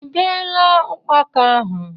I beela ukpaka ahụ?